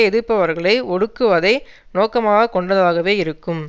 எதிர்ப்பவர்களை ஒடுக்குவதை நோக்கமாக கொண்டதாகவே இருக்கும்